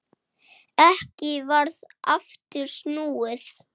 Ekki varð aftur snúið.